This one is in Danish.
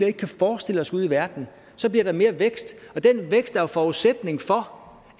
ikke kan forestille os ude i verden så bliver der mere vækst og den vækst er forudsætning for